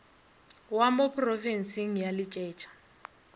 wa mo porofenseng a letšetša